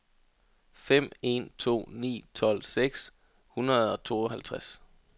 fem en to ni tolv seks hundrede og treoghalvtreds